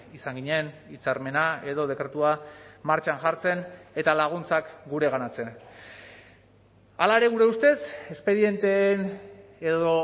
izan ginen hitzarmena edo dekretua martxan jartzen eta laguntzak gureganatzen hala ere gure ustez espedienteen edo